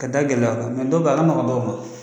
Ka da gɛlɛ a kan. dɔw be yen a ka nɔgɔ dɔw ma.